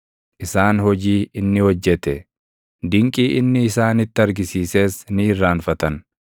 Isaan hojii inni hojjete, dinqii inni isaanitti argisiises ni irraanfatan.